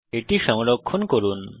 এটি সংরক্ষণ করুন